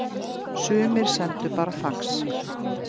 Sumir sendu bara fax